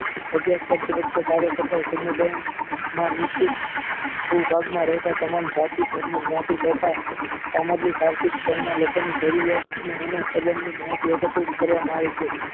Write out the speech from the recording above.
અભ્યાસ કરતી વખતે કાર્ય કરતા સમુદાય માં નિશ્ચિત ફુકાળમાં રહેતા તમામ જતી તેમજ નાતી તથા સામાજિક આર્થિક તેમાં લોકોની જરૂરિયાતને અને સંબંધની મહાજ વખતેજ કરવામાં આવે છે